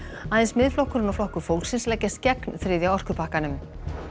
aðeins Miðflokkurinn og Flokkur fólksins leggjast gegn þriðja orkupakkanum